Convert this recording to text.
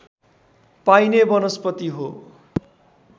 पाइने वनस्पति हो